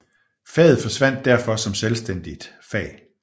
Faget forsvandt derfor som selvstændigt fag